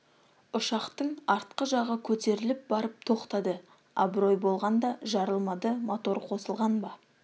ұшақтың артқы жағы көтеріліп барып тоқтады абырой болғанда жарылмады мотор қосылған ба